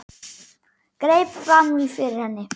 Greip fram í fyrir henni.